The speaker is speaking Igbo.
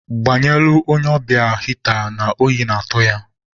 Gbanyelụ onye ọbịa hịta na oyi na-atụ ya.